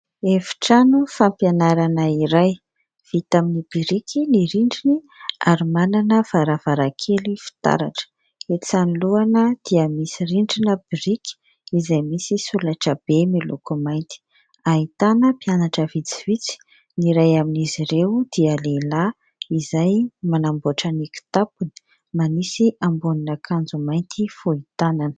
Efitrano fampianarana iray. Vita amin'ny biriky ny rindriny ary manana varavarankely fitaratra. Etsy anoloana dia misy rindrina biriky izay misy solaitra be miloko mainty. Ahitana mpianatra vitsivitsy. Ny iray amin'izy ireo dia lehilahy izay manamboatra ny kitapony, manisy ambonin'akanjo mainty fohy tanana.